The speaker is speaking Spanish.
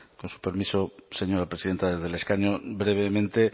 con su permiso señora presidenta desde el escaño brevemente